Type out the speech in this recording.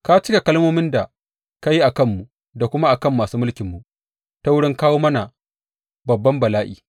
Ka cika kalmomin da ka yi a kanmu da kuma a kan masu mulkinmu ta wurin kawo mana babban bala’i.